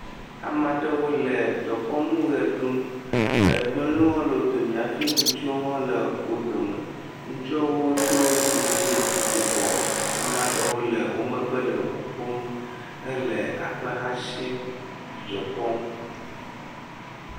Amaɖewo le dekɔnu ɣe ɖum, nyɔnuwo le wo do me hafi ŋutsu wo hã le wo do me. Ŋutsua wo do siŋlet yibɔ, amaɖewo le wo megbe le ʋuƒom hele akpe hã sim, dzidzɔ kpɔm.